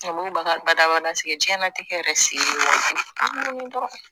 baga badabada sigi diɲɛnatigɛ yɛrɛ se ye waajibi ye dɔrɔn